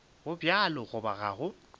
go bjalo goba ga go